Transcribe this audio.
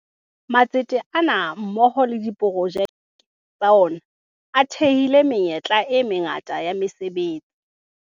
Matsete ana mmoho le diprojeke tsa ona a thehile menyetla e mangata ya mese betsi.